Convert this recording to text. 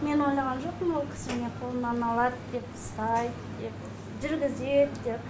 мен ойлаған жоқпын ол кісі мені қолымнан алады деп ұстайды деп жүргізеді деп